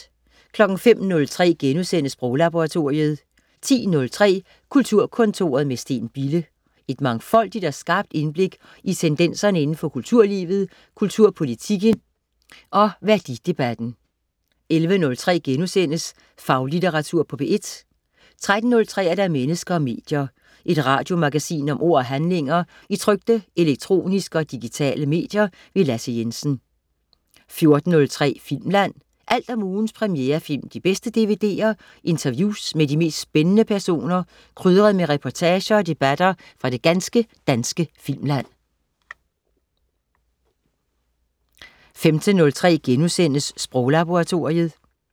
05.03 Sproglaboratoriet* 10.03 Kulturkontoret med Steen Bille. Et mangfoldigt og skarpt indblik i tendenserne indenfor kulturlivet, kulturpolitikken og værdidebatten 11.03 Faglitteratur på P1* 13.03 Mennesker og medier. Et radiomagasin om ord og handlinger i trykte, elektroniske og digitale medier. Lasse Jensen 14.03 Filmland. Alt om ugens premierefilm, de bedste DVD'er, interviews med de mest spændende personer, krydret med reportager og debatter fra det ganske danske filmland 15.03 Sproglaboratoriet*